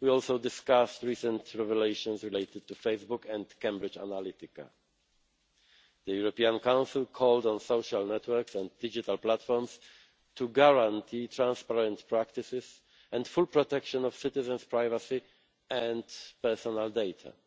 we also discussed recent revelations related to Facebook and Cambridge Analytica. The European Council called on social networks and digital platforms to guarantee transparent practices and full protection of citizens' privacy and personal